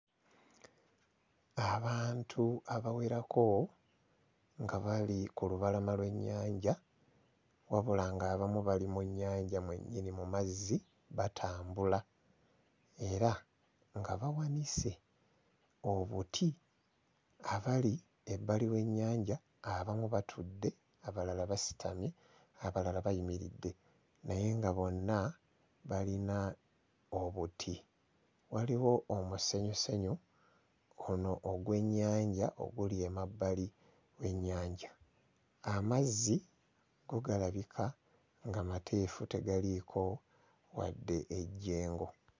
Abantu abawerako nga bali ku lubalama lw'ennyanja wabula ng'abamu bali mu nnyanja mwennyini mu mazzi batambula era nga bawanise obuti abali ebbali w'ennyanja abamu batudde abalala basitamye abalala bayimiridde naye nga bonna balina obuti. Waliwo omusenyusenyu ono ogw'ennyanja oguli emabbali ennyanja. Amazzi go galabika nga mateefu tegaliiko wadde ejjengo.